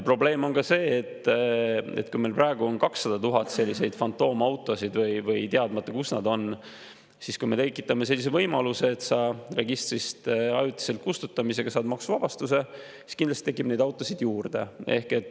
Probleem on ka see, et kui meil praegu on 200 000 sellist fantoomautot või on teadmata, kus nad on, siis kui me tekitame sellise võimaluse, et registrist ajutiselt kustutamisega saab maksuvabastuse, siis kindlasti tekib neid autosid juurde.